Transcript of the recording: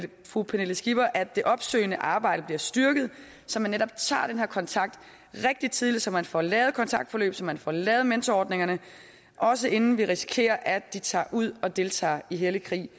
fru pernille skipper at det opsøgende arbejde bliver styrket så man netop tager den her kontakt rigtig tidligt så man får lavet kontaktforløbene og så man får lavet mentorordningerne også inden vi risikerer at de tager ud og deltager i hellig krig